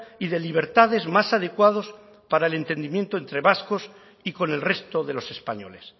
y de libertades más adecuados para el entendimiento entre vascos y con el resto de los españoles